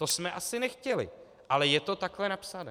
To jsme asi nechtěli, ale je to takhle napsané.